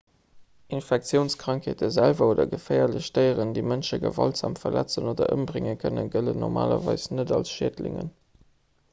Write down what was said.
infektiounskrankheete selwer oder geféierlech déieren déi mënsche gewaltsam verletzen oder ëmbrénge kënnen gëllen normalerweis net als schädlingen